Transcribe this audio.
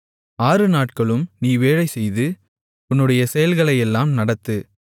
ஆறுநாட்களும் நீ வேலைசெய்து உன்னுடைய செயல்களையெல்லாம் நடத்து